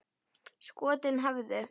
Skotin hæfðu!